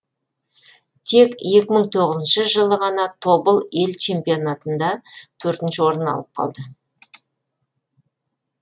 тек екі мың тоғызыншы жылы ғана тобыл ел чемпионатында төртінші орын алып қалды